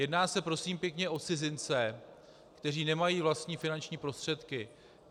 Jedná se, prosím pěkně, o cizince, kteří nemají vlastní finanční prostředky.